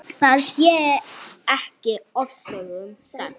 Það sé ekki ofsögum sagt.